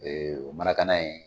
O ye marakana ye.